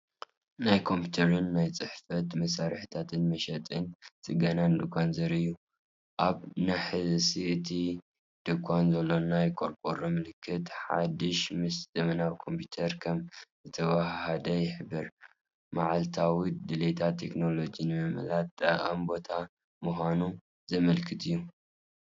ናይ ኮምፒተርን ናይ ቤት ጽሕፈት መሳርሒታትን መሸጣን ጽገናን ድኳን ዘርኢ እዩ። ኣብ ናሕሲ እቲ ድኳን ዘሎ ናይ ቆርቆሮ ምልክት፡ ሓድሽ ምስ ዘመናዊ ኮምፒተር ከም ዝተዋሃሃደ ይሕብር። መዓልታዊ ድሌታት ቴክኖሎጂ ንምምላእ ጠቓሚ ቦታ ምዃኑ ዘመልክት እዩ።